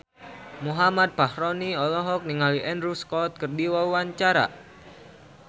Muhammad Fachroni olohok ningali Andrew Scott keur diwawancara